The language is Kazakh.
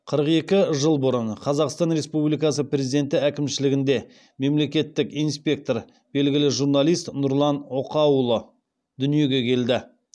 қырық екі жыл бұрын қазақстан республикасы президенті әкімшілігінде мемлекеттік инспектор белгілі журналист нұрлан окаұлы дүниеге келді